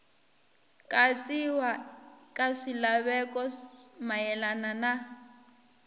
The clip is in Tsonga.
katsiwa ka swilaveko mayelana na